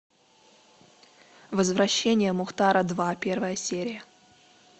возвращение мухтара два первая серия